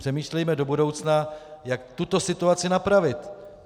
Přemýšlejme do budoucna, jak tuto situaci napravit.